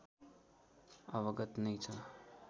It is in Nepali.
अवगत नै छ